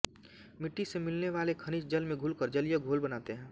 मिट्टी से मिलने वाले खनिज जल में घुलकर जलीय घोल बनाते हैं